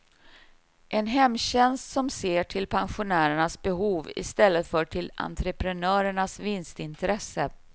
En hemtjänst som ser till pensionärernas behov i stället för till entreprenörernas vinstintresse.